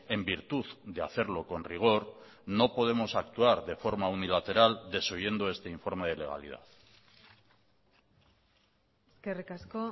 en virtud de hacerlo con rigor no podemos actuar de forma unilateral desoyendo este informe de legalidad eskerrik asko